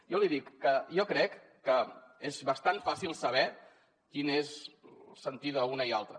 jo li dic que jo crec que és bastant fàcil saber quin és el sentir d’una i l’altra